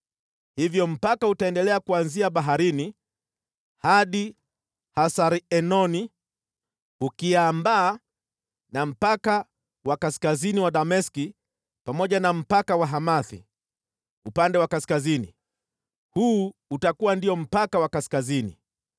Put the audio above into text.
Hivyo mpaka utaendelea kuanzia Baharini hadi Hasar-Enoni, ukiambaa na mpaka wa kaskazini wa Dameski, pamoja na mpaka wa Hamathi upande wa kaskazini. Huu utakuwa ndio mpaka wa kaskazini.